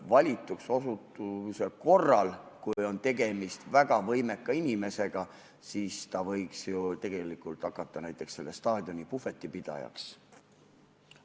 Valituks osutumise korral, kui on tegemist väga võimeka inimesega, võiks ta ju tegelikult hakata näiteks selle staadioni puhvetipidajaks.